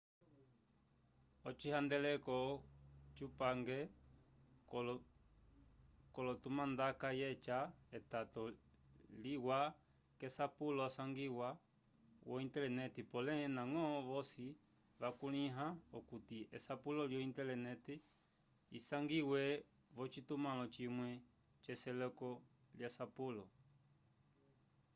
ocihandeleko cupange colotumandaka yeca etato liwa k'asapulo asangiwa vo-intelenete polé ndañgo vosi vakulĩha okuti esapulo lyo-intelenete isangiwe v'ocitumãlo cimwe c'eseleko lyasapulo